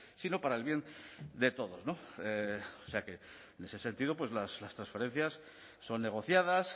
sino para el bien de todos o sea que en ese sentido las transferencias son negociadas